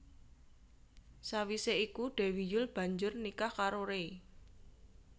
Sawisé iku Dewi Yull banjur nikah karo Ray